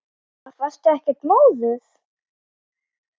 Linda: Varstu ekkert móður?